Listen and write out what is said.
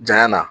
Janya na